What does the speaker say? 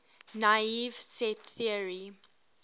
naive set theory